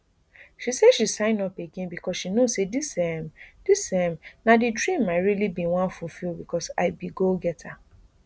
she say she sign up again becos she know say dis um dis um na di dream i really bin wan fulfil becos i be goal setter